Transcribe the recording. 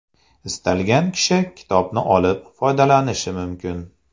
Istalgan kishi kitobni olib, foydalanishi mumkin.